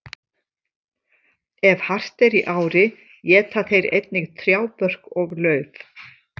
Ef hart er í ári éta þeir einnig trjábörk og lauf.